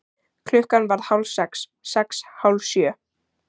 Klukkan varð hálf sex. sex. hálf sjö.